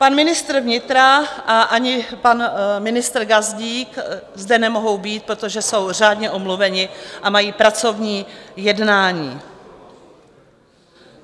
Pan ministr vnitra a ani pan ministr Gazdík zde nemohou být, protože jsou řádně omluveni a mají pracovní jednání.